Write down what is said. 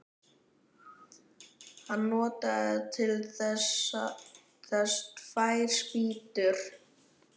Hann notaði til þess tvær spýtur.